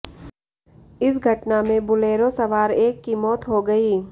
इस घटना में बोलेरो सवार एक की मौत हो गयी